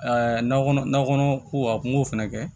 na kɔnɔ na kɔnɔ ko a kun k'o fɛnɛ kɛ